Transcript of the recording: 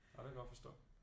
Ja det kan jeg godt forstå